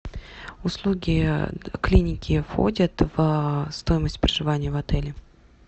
услуги клиники входят в стоимость проживания в отеле